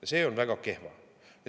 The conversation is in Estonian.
Ja see on väga kehv.